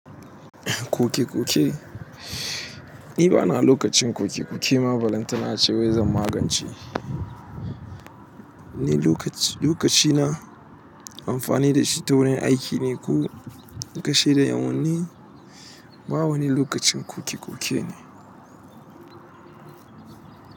Koke koke, ni bana lokacin koke koke ma balantana ace wai zan magance. Ni lokaci lokacina amfani da shi ta wani aiki ne ko kashe da ƴan'uwan ni. Ba wani lokacin kuki kuki ne.